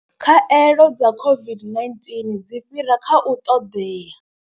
Khaelo dza COVID-19 dzi fhira kha u ṱoḓea.